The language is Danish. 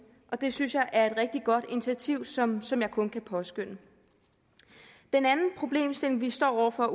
det synes jeg er et rigtig godt initiativ som som jeg kun kan påskønne den anden problemstilling vi står over for